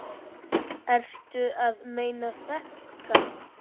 Ertu að meina þetta?